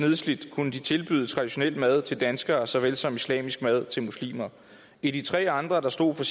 kunne de tilbyde traditionel mad til danskere såvel som islamisk mad til muslimer i de tre andre